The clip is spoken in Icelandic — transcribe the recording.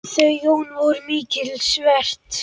Þau Jón voru mikils virt.